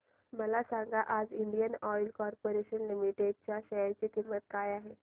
मला सांगा आज इंडियन ऑइल कॉर्पोरेशन लिमिटेड च्या शेअर ची किंमत काय आहे